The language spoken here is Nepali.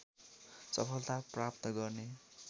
सफलता प्राप्त गर्ने